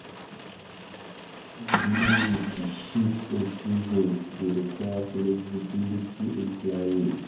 Dealing with di shift in seasons dey require flexibility in planning.